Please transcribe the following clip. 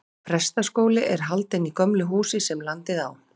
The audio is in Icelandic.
Prestaskóli er haldinn í gömlu húsi, sem landið á.